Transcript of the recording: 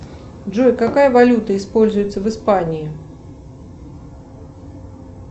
джой какая валюта используется в испании